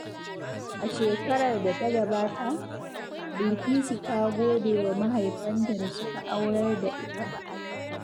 A shekarar da ta gabata, Bilkisu ta gode wa mahaifanta da suka aurar da ita.